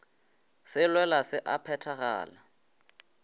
se lwela se a phethagala